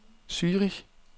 Zürich